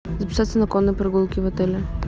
записаться на конные прогулки в отеле